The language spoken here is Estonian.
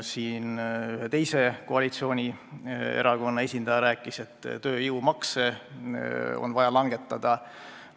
Ühe teise koalitsioonierakonna esindaja rääkis, et tööjõumakse on vaja langetada.